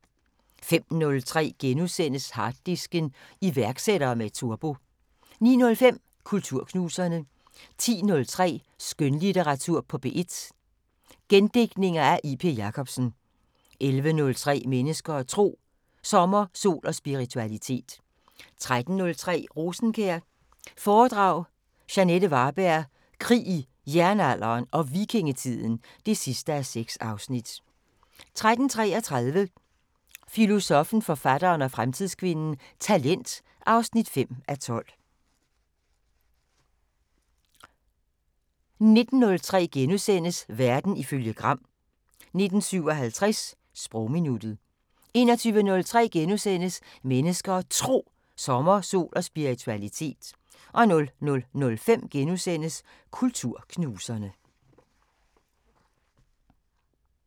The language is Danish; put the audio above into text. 05:03: Harddisken: Iværksættere med turbo * 09:05: Kulturknuserne 10:03: Skønlitteratur på P1: Gendigtninger af J.P. Jacobsen 11:03: Mennesker og Tro: Sommer, sol og spiritualitet 13:03: Rosenkjær foredrag – Jeanette Varberg: Krig i Jernalderen og Vikingetiden (6:6) 13:33: Filosoffen, forfatteren og fremtidskvinden: Talent (5:12) 19:03: Verden ifølge Gram * 19:57: Sprogminuttet 21:03: Mennesker og Tro: Sommer, sol og spiritualitet * 00:05: Kulturknuserne *